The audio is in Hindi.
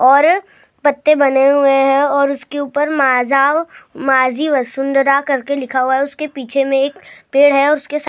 और पत्ते बने हुए हैं और उसके उपर माझा माझी वसुंधरा करके लिखा हुआ है उसके पीछे मैं एक पेड़ है और उसके